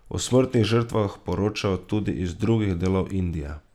O smrtnih žrtvah poročajo tudi iz drugih delov Indije.